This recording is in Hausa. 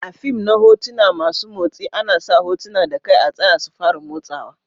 A'fim na hotuna masun motsi ana sa hotuna da kai a tsaya su fara motsawa.